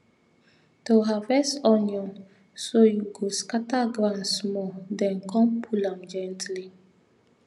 to harvest onion so you go scatter ground small then come pull am gently